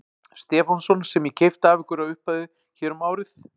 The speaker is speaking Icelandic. Stefánsson sem ég keypti af ykkur á uppboði hér um árið.